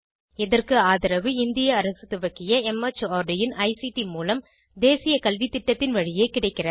இதற்கு ஆதரவு இந்திய அரசு துவக்கிய மார்ட் இன் ஐசிடி மூலம் தேசிய கல்வித்திட்டத்தின் வழியே கிடைக்கிறது